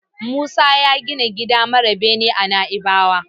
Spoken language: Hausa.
Musa ya gina gida mara bene a Naibawa.